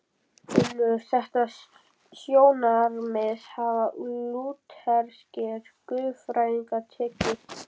Undir þetta sjónarmið hafa lútherskir guðfræðingar tekið.